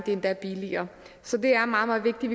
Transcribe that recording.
er endda billigere så det er meget meget vigtigt